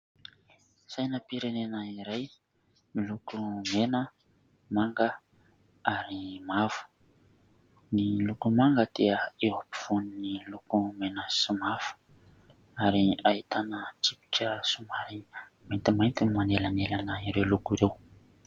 Sainam-pirenena iray : miloko mena, manga ary mavo. Ny loko manga dia eo am-povoan'ny loko mena sy mavo ary ahitana tsipika somary maintimainty no manelanelana ireo loko ireo.